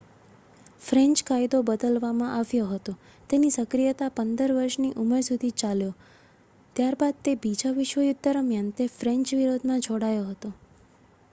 French કાયદો બદલવામાં આવ્યો હતો તેની સક્રિયતા 15 વર્ષની ઉંમર સુધી ચાલ્યો ત્યારબાદ તે બીજા વિશ્વયુદ્ધ દરમિયાન તે ફ્રેન્ચ વિરોધમાં જોડાયો હતો